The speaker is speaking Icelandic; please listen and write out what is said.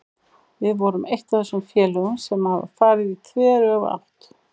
Við erum eitt af þessum félögum sem hafa farið í þveröfuga átt.